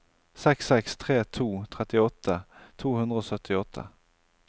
seks seks tre to trettiåtte to hundre og syttiåtte